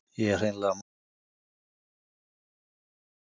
Ég hreinlega man það ekki Í hvernig fótboltaskóm spilar þú?